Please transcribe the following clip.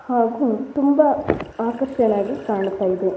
ಹಾಗು ತುಂಬಾ ಆಕರ್ಶಕನ ಆಗಿ ಕಾಣುತಾಯಿದೆ.